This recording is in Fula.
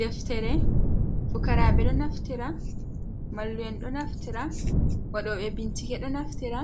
Deftere fukarabe ɗo naftira, mallu’en ɗo naftira, waɗo ɓe bincike ɗo naftira,